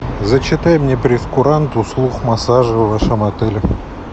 зачитай мне прейскурант услуг массажа в вашем отеле